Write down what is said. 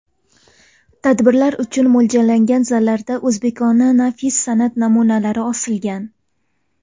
Tadbirlar uchun mo‘ljallangan zallarda o‘zbekona nafis san’at namunalari osilgan.